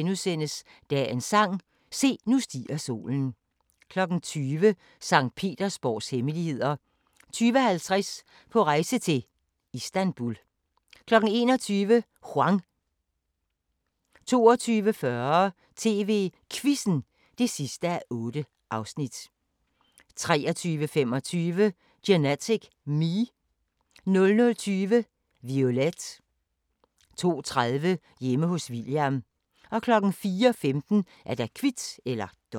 13:10: Landmand søger kærlighed (Afs. 4) 14:00: Hellas Have (1:6) 14:35: Grænsepatruljen (tor-fre) 15:00: Grænsepatruljen 15:30: Grand Danois (tor-fre) 20:00: Kurs mod fjerne kyster (Afs. 7) 20:50: Gutterne på kutterne (Afs. 5) 21:25: Vi elsker biler 23:15: Klipfiskerne (Afs. 10) 00:15: The Raid